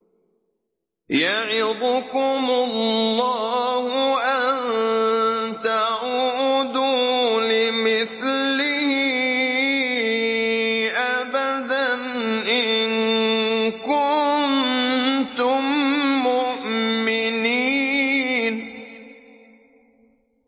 يَعِظُكُمُ اللَّهُ أَن تَعُودُوا لِمِثْلِهِ أَبَدًا إِن كُنتُم مُّؤْمِنِينَ